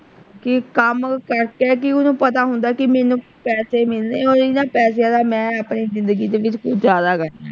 ਕਿ ਕੰਮ ਓਹਨੂੰ ਪਤਾ ਹੁੰਦਾ ਕਿ ਮੈਨੂੰ ਪੈਸੇ ਮਿਲਨੇ ਓਹੀ ਨਾ ਪੈਸਿਆਂ ਦਾ ਮੈਂ ਆਪਣੀ ਜਿੰਦਗੀ ਦੇ ਵਿੱਚ ਕੁਛ ਜ਼ਿਆਦਾ ਕਰਨਾ।